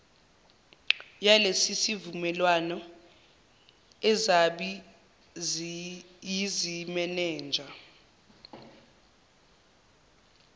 yalesisivumelwano azibi yizimenenja